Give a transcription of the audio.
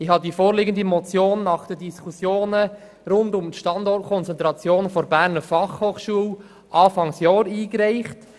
Ich habe die vorliegende Motion nach den Diskussionen rund um den Standort der Berner Fachhochschule zu Beginn des Jahres eingereicht.